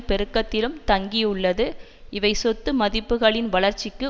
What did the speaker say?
பெருக்கத்திலும் தங்கியுள்ளது இவை சொத்து மதிப்புக்களின் வளர்ச்சிக்கு